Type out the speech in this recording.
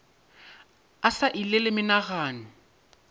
a sa ile le menagano